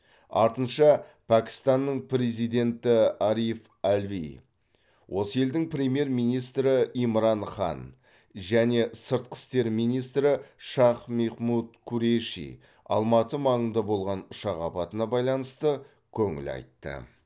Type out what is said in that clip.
артынша пәкістанның президенті ариф алви осы елдің премьер министрі имран хан және сыртқы істер министрі шах мехмуд куреши алматы маңында болған ұшақ апатына байланысты көңіл айтты